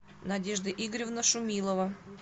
надежда игоревна шумилова